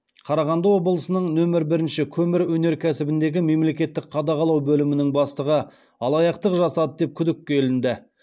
қарағанды облысының нөмір бірінші көмір өнеркәсібіндегі мемлекеттік қадағалау бөлімінің бастығы алаяқтық жасады деп күдікке ілінді